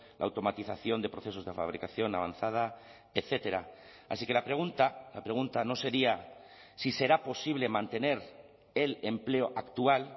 la automatización de procesos de fabricación avanzada etcétera así que la pregunta la pregunta no sería si será posible mantener el empleo actual